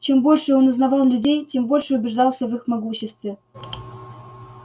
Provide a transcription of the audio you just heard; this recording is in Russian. чем больше он узнавал людей тем больше убеждался в их могуществе